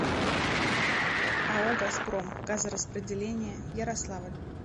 ао газпром газораспределение ярославль